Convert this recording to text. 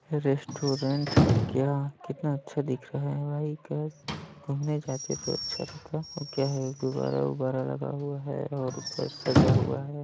Restaurant हैं क्या? कितना अच्छा दिख रहा हैं भाई घूमने जाते तो अच्छा रहता वो क्या हैं गुब्बारा -उब्बारा लगा हुआ हैं और ऊपर सजा हुआ हैं।